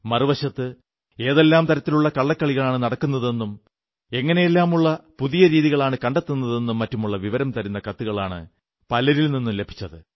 മറുവശത്ത് ഏതെല്ലാം തരത്തിലുള്ള കള്ളക്കളികളാണു നടക്കുന്നതെന്നും എങ്ങനെയെല്ലാമുള്ള പുതിയ രീതികളാണ് കണ്ടെത്തുന്നതെന്നും മറ്റുമുള്ള വിവരം തരുന്ന കത്തുകളാണ് പലരിൽ നിന്നും ലഭിച്ചത്